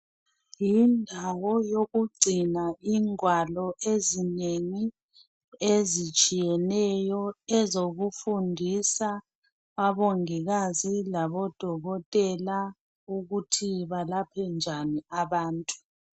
Yindawo yokugcina ingwalo ezinengi ezitshiyeneyo ezokufundisa abongikazi labodokotela ukuthi balaphe njani abantu.